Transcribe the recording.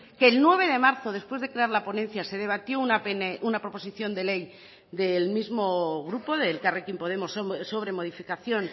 que el nueve de marzo después de crear la ponencia se debatió una proposición de ley del mismo grupo de elkarrekin podemos sobre modificación